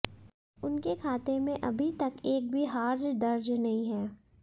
उनके खाते में अभी तक एक भी हार दर्ज नहीं हैं